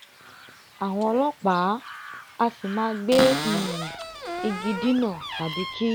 àwọn ọlọ́pàá a sì máa gbe um igi dínà tàbí kí